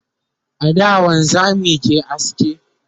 a da wanzamai ke aske